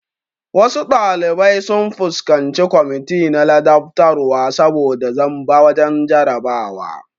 Wasu ɗalibai sun fuskanci kwamiti na ladabtarwa saboda zamba wajen jarabawa